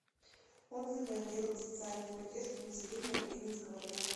отзывы отдел социальной поддержки населения калининского района